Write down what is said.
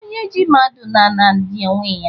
Onye ji mmadụ n'ala, ji onwe ya